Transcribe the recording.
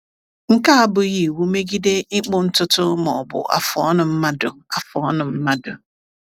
Nke a abụghị iwu megide ịkpụ ntutu ma ọ bụ afụ ọnụ mmadụ. afụ ọnụ mmadụ.